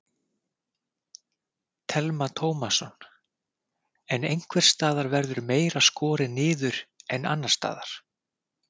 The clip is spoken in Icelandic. Telma Tómasson: En einhvers staðar verður meira skorið niður en annars staðar?